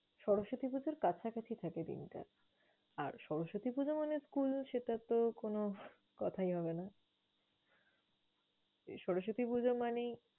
সরস্বতী পুজোর কাছাকাছি থাকে দিনটা আর সরস্বতী পুজো মানে school ও সেটাতো কোনো কোথাই হবে না। সরস্বতী পুজো মানেই